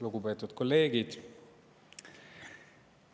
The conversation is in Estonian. Lugupeetud kolleegid!